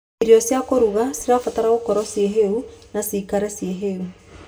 Irio cia kũruga cibataraga gũkorwo cie hiũ na cikare cie hiũ.